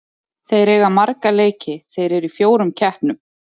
Þeir eiga marga leiki, þeir eru í fjórum keppnum.